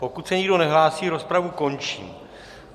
Pokud se nikdo nehlásí, rozpravu končím.